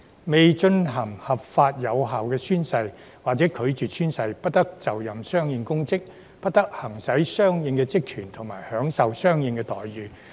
未進行合法有效宣誓或者拒絕宣誓，不得就任相應公職，不得行使相應職權和享受相應待遇。